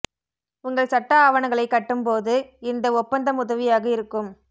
உங்கள் சட்ட ஆவணங்களை கட்டும் போது இந்த ஒப்பந்தம் உதவியாக இருக்கும்